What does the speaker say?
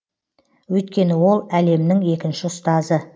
өйткені ол әлемнің екінші ұстазы